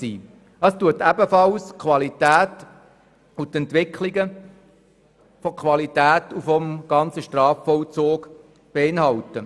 Es beinhaltet ebenfalls die Qualitätsentwicklung innerhalb des Strafvollzugs.